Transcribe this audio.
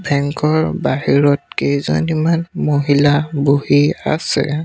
Bank ৰ বাহিৰত কেইজনীমান মহিলা বহি আছে।